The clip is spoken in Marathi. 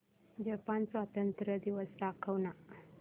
जपान स्वातंत्र्य दिवस दाखव ना